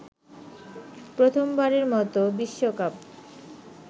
প্রথমবারের মতো বিশ্বকাপ